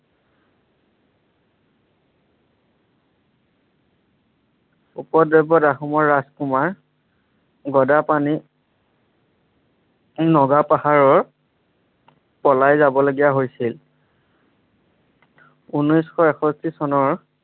উপদ্ৰৱত আহোমৰ ৰাজকুমাৰ গদাপাণি নগা পাহাৰৰ পলাই যাব লগীয়া হৈছিল। ঊনৈছশ এষষ্ঠি চনৰ